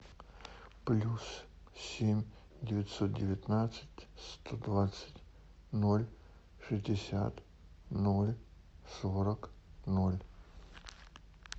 плюс семь девятьсот девятнадцать сто двадцать ноль шестьдесят ноль сорок ноль